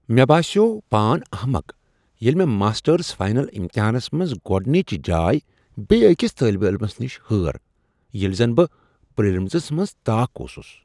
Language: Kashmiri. مےٚ باسیٛوو پان احمق ییٚلہ مےٚ ماسٹرز فاینل امتحانس منٛز گۄڑنچ جاے بیٚیہ أکس طٲلب علمس نش ہٲر ییٚلہ زن بہٕ پری لمنرین منٛز طاق اوسس۔